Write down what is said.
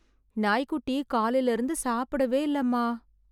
நாய் குட்டி காலைல இருந்து சாப்பிடவே இல்ல அம்மா